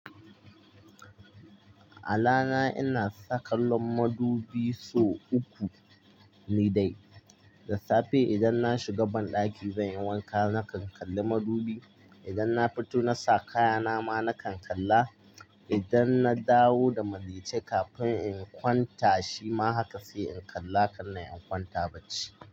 A rana ina saka kallon madubi sau uku ni dai. Da safe idan na shiga banɗaki zan yi wanka nakan kalli madubi. Idan na fito na sa kaya na ma nakan kalla. Idan na dawo da maltice kafin in kwanta shima haka sai in kalla kanna in kwanta bacci.